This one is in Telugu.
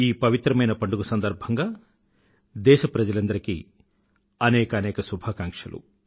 ఈ పవిత్రమైన పండుగ సందర్భంగా దేశ ప్రజలందరికీ అనేకానేక శుభాకంక్షలు